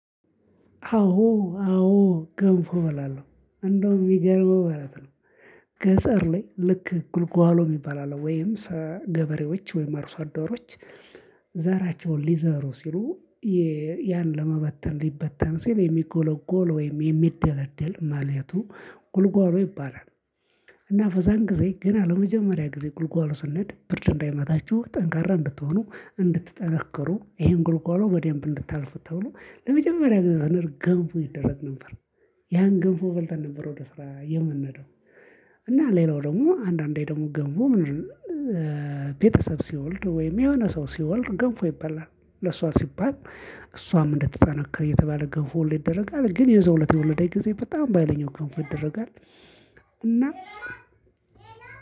አዎ አዎ ገንፎ እበላለሁ እንደውም የሚገርመው ማለት ነው። ገጠር ላይ ልክ ጉልጓሎ የሚባል አለ። ወይም ገበሬዎች ወይም አርሶ አዶሮች። ዛራቸውን ሊዘሩ ሲሉ ያን ለመበተን ሊበተን ሲል የሚጎለጎል ወይም የሚደለደል ማለቱ ጉልጕሎ ይባላል። እና በዚያን ጊዜ ገና ለመጀመሪያ ጊዜ ጉልጕሎ ስንሄድ ብርድ እንዳይመታችሁ ጠንካራ እንድትሆኑ እንድትጠነክሩ ይሄን ጉልጓሎ በደንብ እንድታልፉ ተብሎ ለመጀመሪያ ጊዜ ስንሄድ ገንፎ ይደረግ ነበር። ያን ገንፎ በልተን ነበር ወደ ስራ የምንሄደው። እና ሌላው ደግሞ አንዳንዴ ደግሞ ገንፎ ምንድነው? ቤተሰብ ሲወልድ ወይም የሆነ ሰው ሲወልድ ገንፎ ይባላል። ለእሷ ሲባል እሷም እንድትጠነክር እየተባለ ገንፎ ሁሌ ይደረጋል ግን የዛው እለት የወለደች ጊዜ በጣም ባሀይለኛው ገንፎ ይደረጋል። እና